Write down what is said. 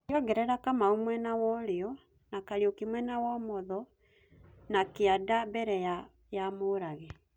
Ũgeongerera Kamau mwena wũrio na Kariuki mwena wũmũtho na kĩanda mbere ya Mũrage